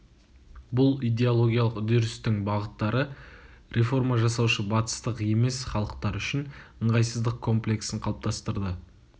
бұл идеологиялық үдерістің бағыттары реформа жасаушы батыстық емес халықтар үшін ыңғайсыздық комплексін қалыптастырды